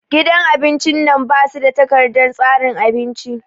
Gidan abin cin nan ba su da takardar tsarin abinci